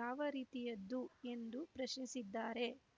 ಯಾವ ರೀತಿಯದ್ದು ಎಂದು ಪ್ರಶ್ನಿಸಿದ್ದಾರೆ